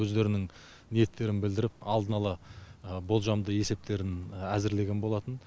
өздерінің ниеттерін білдіріп алдын ала болжамды есептерін әзірлеген болатын